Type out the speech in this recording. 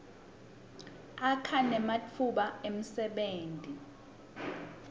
akha nematfuba emsebenti